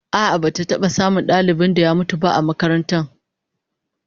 A'a, ba'a taba samun dalibin da ya mutum ba a makarantar